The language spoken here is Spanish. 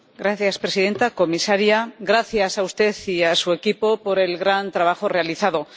Señora presidenta, comisaria, gracias a usted y a su equipo por el gran trabajo realizado.